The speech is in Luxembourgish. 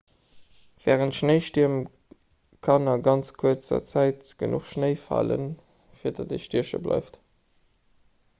wärend schnéistierm kann a ganz kuerzer zäit genuch schnéi falen fir datt ee stieche bleift